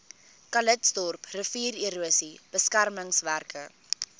calitzdorp riviererosie beskermingswerke